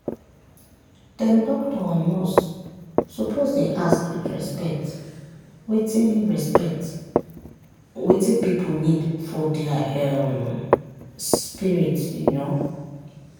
dem doctor and nurse suppose dey ask with respect wetin respect wetin pipu need for dia um spirit. um